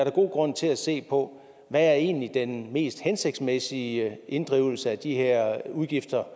er god grund til at se på hvad der egentlig er den mest hensigtsmæssige inddrivelse af de her udgifter